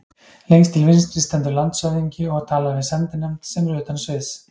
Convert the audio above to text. Lengst til vinstri stendur landshöfðingi og talar við sendinefnd, sem er utan sviðs.